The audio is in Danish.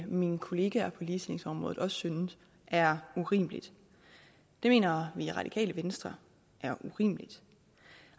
mine kollegaer på ligestillingsområdet også synes er urimeligt det mener vi i radikale venstre er urimeligt